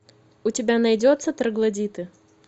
у тебя найдется троглодиты